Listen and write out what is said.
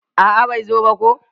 A'a bai zo ba ko.